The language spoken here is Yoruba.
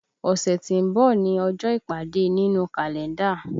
Ọ̀ṣẹ̀ tí ń bọ̀ ni ọjọ́ ìpàdé nínú Kalenda